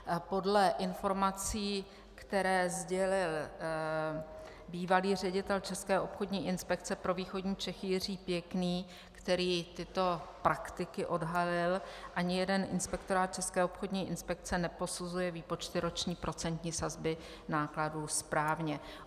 Podle informací, které sdělil bývalý ředitel České obchodní inspekce pro východní Čechy Jiří Pěkný, který tyto prakticky odhalil, ani jeden inspektorát České obchodní inspekce neposuzuje výpočty roční procentní sazby nákladů správně.